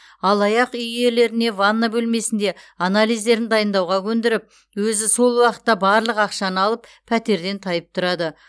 алаяқ үй иелеріне ванна бөлмесінде анализдерін дайындауға көндіріп өзі сол уақытта барлық ақшаны алып пәтерден тайып тұрады